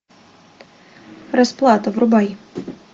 расплата врубай